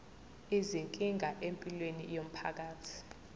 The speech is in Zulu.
izinkinga empilweni yomphakathi